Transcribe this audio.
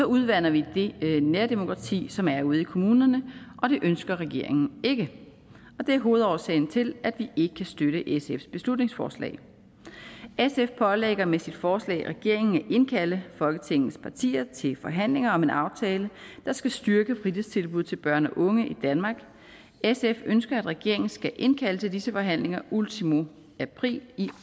udvander vi det nærdemokrati som er ude i kommunerne og det ønsker regeringen ikke det er hovedårsagen til at vi ikke kan støtte sfs beslutningsforslag sf pålægger med sit forslag regeringen at indkalde folketingets partier til forhandlinger om en aftale der skal styrke fritidstilbud til børn og unge i danmark sf ønsker at regeringen skal indkalde til disse forhandlinger ultimo april i